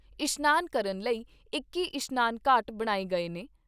ਇਸ਼ਨਾਨ ਕਰਨ ਲਈ ਇਕੱਤੀ ਇਸ਼ਨਾਨ ਘਾਟ ਬਣਾਏ ਗਏ ਨੇ।